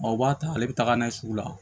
Ɔ u b'a ta ale bɛ taga n'a ye sugu la